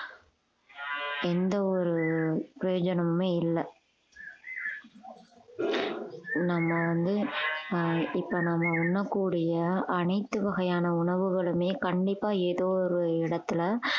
எந்த ஒரு பிரயோஜனமுமே இல்லை நம்ம வந்து ஆஹ் இப்ப நம்ம உண்ணக்கூடிய அனைத்து வகையான உணவுகளுமே கண்டிப்பா ஏதோ ஒரு இடத்துல